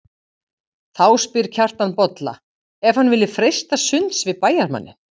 Þá spyr Kjartan Bolla ef hann vilji freista sunds við bæjarmanninn.